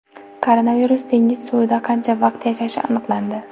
Koronavirus dengiz suvida qancha vaqt yashashi aniqlandi.